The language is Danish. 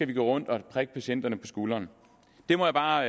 vi gå rundt og prikke patienterne på skuldrene det må jeg bare